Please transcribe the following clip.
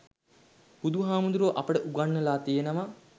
බුදුහාමුදුරුවෝ අපට උගන්වලා තියෙනවා